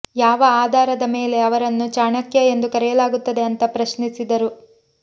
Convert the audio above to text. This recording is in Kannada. ಯಾವ ಆಧಾರದ ಮೇಲೆ ಅವರನ್ನು ಚಾಣಕ್ಯ ಎಂದು ಕರೆಯಲಾಗುತ್ತದೆ ಅಂತಾ ಪ್ರಶ್ನಿಸಿದರು